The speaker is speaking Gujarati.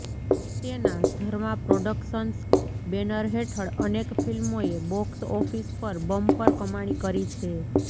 તેના ધર્મા પ્રોડકશન્સ બેનર હેઠળ અનેક ફિલ્મોએ બોકસ ઓફિસ પર બમ્પર કમાણી કરી છે